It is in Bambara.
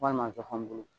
Walima zɔfɔn bulu